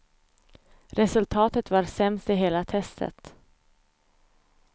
Resultatet var sämst i hela testet.